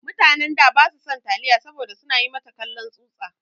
Mutanen da ba su san taliya saboda su na yi mata kallon tsutsa.